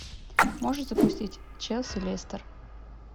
можешь запустить челси лестер